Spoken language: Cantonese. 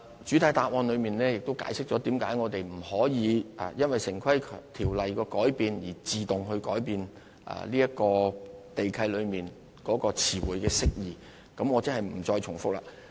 主體答覆亦解釋了我們為何不能夠因應《城市規劃條例》的改變，而自動改變地契中的詞彙釋義，我便不再重複了。